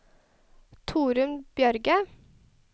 Torunn Bjørge